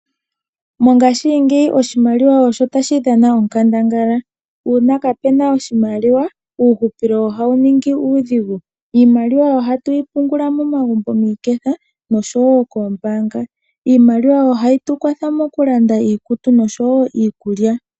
Mongashingeyi oshimaliwa osho tadhi dhana onkandangala. Uuna kapena oshimaliwa uuhupilo ohawu ningi uudhigu. Iimaliwa ohatu yi pungula momagumbo miiketha nosho wo koombaanga. Iimaliwa ohayi tukwatha mokulanda iikutu nosho wo iikulya.